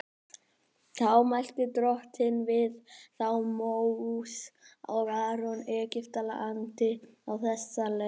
Þá mælti Drottinn við þá Móse og Aron í Egyptalandi á þessa leið:.